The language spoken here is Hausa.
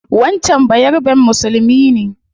Wancan bayaraben musulmi ne